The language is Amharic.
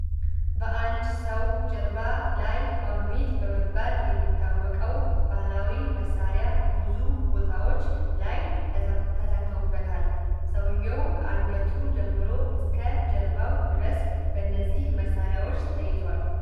በአንድ ሰው ጀርባ ላይ ዋግምት በመባል የሚታወቀው ባህላዊ መሳሪያ ብዙ ቦታዎች ላይ ተሰክተዉበታል። ሰውየው ከአንገቱ ጀምሮ እስከ ጀርባው ድረስ በነዚህ መሳሪያዎች ተይዟል።